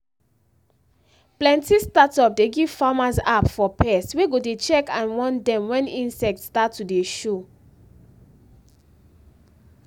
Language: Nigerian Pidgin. plenty startup dey give farmers app for pest wey go dey check and warn dem when insect start to dey show